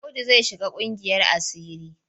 Audu zai shiga ƙungiyar asiri.